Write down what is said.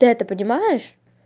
ты это понимаешь